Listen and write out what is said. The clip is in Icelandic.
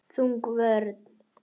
Þjóðin fékk forræði eigin mála.